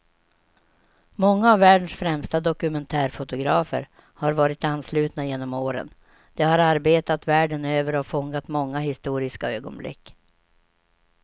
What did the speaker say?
Många av världens främsta dokumentärfotografer har varit anslutna genom åren, de har arbetat världen över och fångat många historiska ögonblick.